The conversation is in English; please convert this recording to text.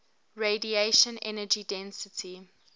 radiation energy density